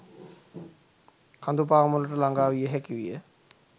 කඳු පාමුලට ළඟාවිය හැකි විය